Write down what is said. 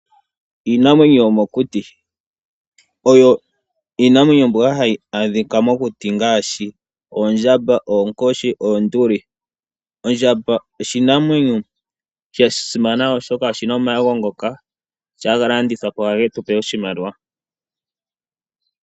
Iinamwenyo yomokuti, oyo iinamwenyo mbyoka hayi adhika mokuti ngaashi oondjamba, oonkoshi, noonduli. Ondjamba oshinamwenyo sha simana oshoka oshi na omaego ngoka ngele oga landithwapo ohage tu pe oshimaliwa.